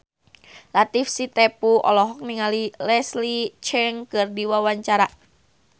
Latief Sitepu olohok ningali Leslie Cheung keur diwawancara